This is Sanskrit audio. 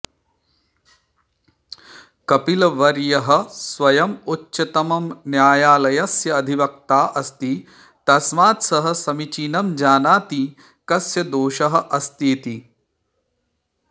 कपिलवर्यः स्वयं उच्चतमन्यायालयस्य अधिवक्ता अस्ति तस्मात् सः समीचीनं जानाति कस्य दोषः अस्ति इति